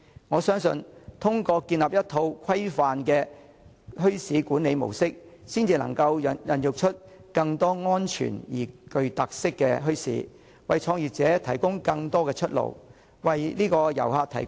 我相信通過建立一套規範的墟市管理模式，才能孕育出更多安全而且具特色的墟市，為創業者提供更多出路，為遊客提供更多選擇。